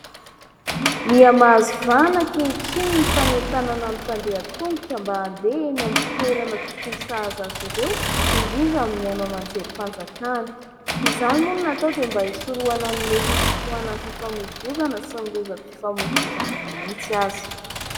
Miha-mahazo vahana ankehitriny ny fanentanana ny mpandeha an-tongotra mba andeha eny toerana tokony sahaza azy ireo, indrindra amin'ny haino aman-jerim-panjakana. Izany moa no natao dia mba isorohana ny mety ho fitohanan'ny fifamoivoizana sy ny lozam-pifamoivoizana mihitsy aza.